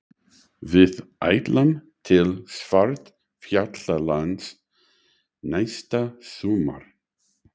Við ætlum til Svartfjallalands næsta sumar.